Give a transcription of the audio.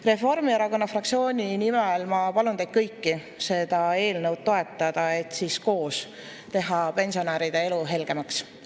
Reformierakonna fraktsiooni nimel ma palun teid kõiki seda eelnõu toetada, et siis koos teha pensionäride elu helgemaks.